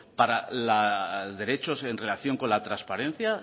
para la derechos en relación con la transparencia